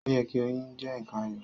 O yẹ ki oyún jẹ nkan ayọ̀.